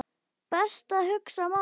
Best að hugsa málið.